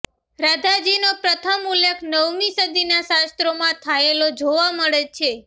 રાધાજીનો પ્રથમ ઉલ્લેખ નવમી સદીના શાસ્ત્રોમાં થાયેલો જોવા મળે છે